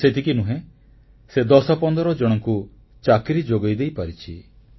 ଖାଲି ସେତିକି ନୁହେଁ ସେ ଦଶ ପନ୍ଦର ଜଣଙ୍କୁ ଚାକିରି ଯୋଗେଇ ଦେଇପାରିଛି